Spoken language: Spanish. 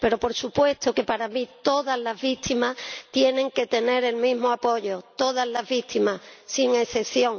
Pero por supuesto que para mí todas las víctimas tienen que tener el mismo apoyo. Todas las víctimas, sin excepción.